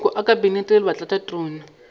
maloko a kabinete le batlatšatona